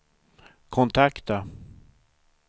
kontakta